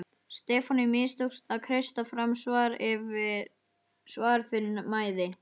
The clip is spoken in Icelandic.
Stefáni mistókst að kreista fram svar fyrir mæði.